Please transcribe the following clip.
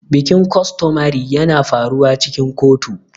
Bikin costomary na faruwa cikin kotu.